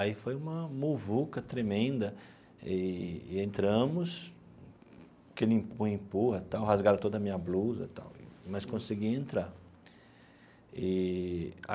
Aí foi uma muvuca tremenda eee e entramos, aquele empurra-empurra e tal, rasgaram toda a minha blusa e tal, mas consegui entrar eee.